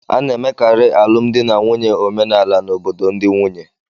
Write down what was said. A na-emekarị alụmdi na nwunye omenala n'obodo ndị nwunye